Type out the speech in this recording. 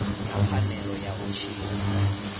na pfanelo ya u tshila